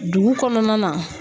Dugu kɔnɔna na